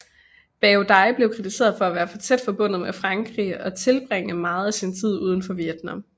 Bảo Đại blev kritiseret for at være for tæt forbundet med Frankrig og tilbringe meget af sin tid udenfor Vietnam